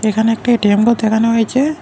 এখানে একটা এ_টি_এম দেখানো হয়েছে।